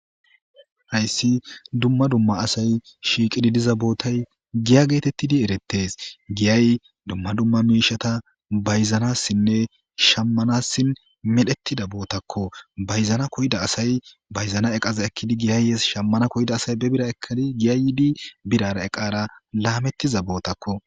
hayssi dumma dumma asay shiiqidi diza bootay giya geetettidi eretes giyay dumma dumma miishata bayzanassinne shammanassin medhettida bootakko bayzana koyida asay bayzana eqaza ekkidi giyayyees shammana koyda asay be bira ekadi giyay yiidi birara eqara laamettiza bootakko